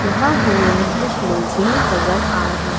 यहा हमे कुछ लोग भी नजर आ रहे--